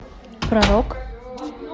про рок